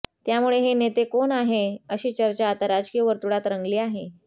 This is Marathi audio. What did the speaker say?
त्यामुळे हे नेते कोण आहे अशी चर्चा आता राजकीय वर्तुळात रंगली आहे